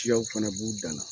Siyaw fana b'u dan na.